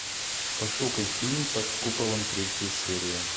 пошукай фильм под куполом третья серия